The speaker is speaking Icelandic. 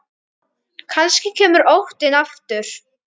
Kannski kemur óttinn aftur.